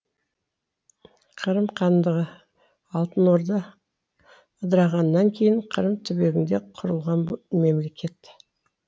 қырым хандығы алтын орда ыдырағаннан кейін қырым түбегінде құрылған мемлекет